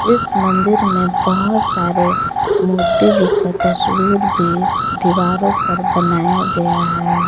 इस मंदिर में बहोत सारे मूर्ति जी का तस्वीर भी दीवारों पर बनाया गया है।